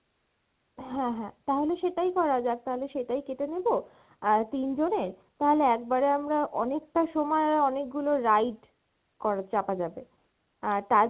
হ্যাঁ হ্যাঁ, তাহলে সেটায় করা যাক, তাহলে সেইটায় কেটে নেব আর তিনজনের তাহলে একবারে আমরা অনেকটা সময়ে অনেক গুলো ride করা চাপা যাবে আর তার